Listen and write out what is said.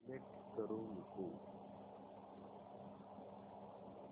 select करू नको